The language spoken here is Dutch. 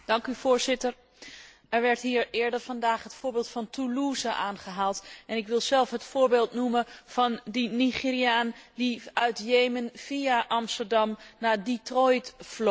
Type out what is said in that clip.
Er werd hier eerder vandaag het voorbeeld van Toulouse aangehaald en ik wil zelf het voorbeeld noemen van die Nigeriaan die uit Jemen via Amsterdam naar Detroit vloog.